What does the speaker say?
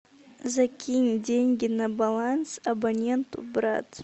закинь деньги на баланс абоненту брат